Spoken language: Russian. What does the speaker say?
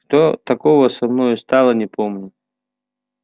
что тогда со мною стало не помню